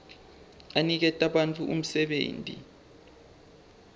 aniketa bantfu umsebenti